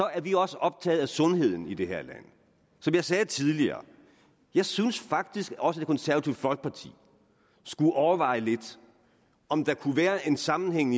er vi også optaget af sundheden i det her land som jeg sagde tidligere jeg synes faktisk også at det konservative folkeparti skulle overveje lidt om der kunne være en sammenhæng